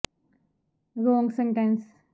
ਉਸ ਦੀਆਂ ਮਹਾਂਪੁਰਸ਼ਾਂ ਨੂੰ ਬਹੁਤ ਵਧੀਆ ਬਣਾ ਦਿੱਤਾ ਗਿਆ